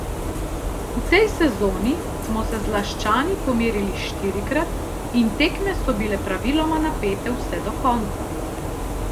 V tej sezoni smo se z Laščani pomerili štirikrat in tekme so bile praviloma napete vse do konca.